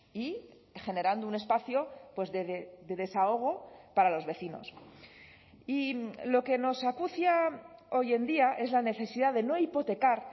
y generando un espacio de desahogo para los vecinos y lo que nos acucia hoy en día es la necesidad de no hipotecar